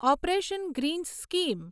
operation Greens scheme